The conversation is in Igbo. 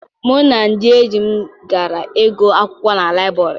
Mụ na ndị enyi m gara ịgụ akwụkwọ na liburary.